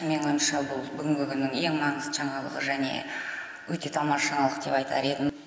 менің ойымша бұл бүгінгі күннің ең маңызды жаңалығы және өте тамаша жаңалық деп айтар едім